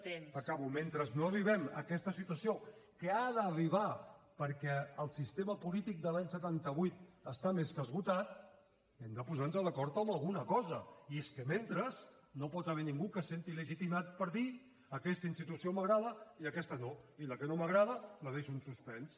acabo mentre no arribem a aquesta situació que ha d’arribar perquè el sistema polític de l’any setanta vuit està més que esgotat hem de posar nos d’acord en alguna cosa i és que mentrestant no hi pot haver ningú que se senti legitimat per dir aquesta institució m’agrada i aquesta no i la que no m’agrada la deixo en suspens